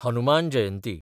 Hanuman Jayanti